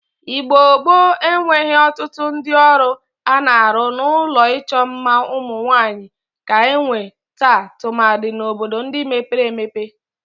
Igbo gboo enweghi otutu udi oru ana-aru n'ulo icho mma umunwanyi ka enwe taa tumadi n"obodo ndi mebere emepe